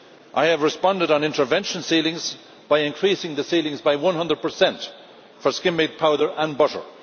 I have responded on intervention ceilings by increasing the ceilings by 100 for skimmed milk powder and butter.